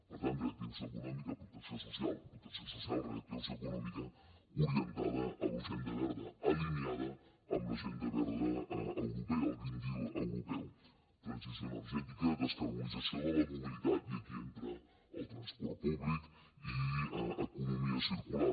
per tant reactivació econòmica protecció social protecció social reactivació econòmica orientada a l’agenda verda alineada amb l’agenda verda europea el green dealmobilitat i aquí entra el transport públic i economia circular